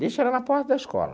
Deixo ela na porta da escola.